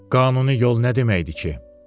Qanuni yol nə deməkdir ki?